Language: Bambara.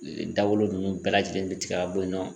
Ee Dawolo nunnu bɛɛ lajɛlen be tigɛ ka bɔ yen nɔ